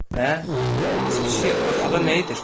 Və bəs pişik arxada nə edir?